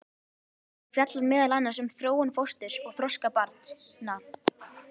Hún fjallar meðal annars um þróun fósturs og þroska barna.